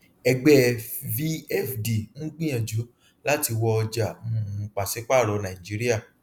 ẹgbẹẹ vfd ń gbìyànjú láti wọ ọjà um pàṣípààrọ nàìjíríà